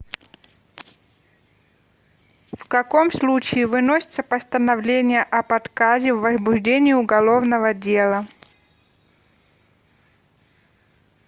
в каком случае выносится постановление об отказе в возбуждении уголовного дела